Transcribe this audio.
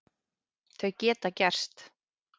Þau geta gerst.